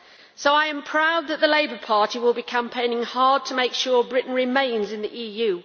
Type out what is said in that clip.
So I am proud that the Labour Party will be campaigning hard to make sure that Britain remains in the EU.